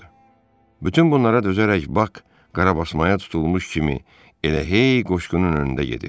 Bütün bunlara dözərək Bak qarabasmaya tutulmuş kimi elə hey qoşqunun önündə gedirdi.